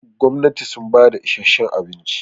gwamnati sun bada isheshen abinci